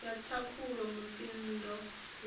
ya thakhula mutsindo wayo u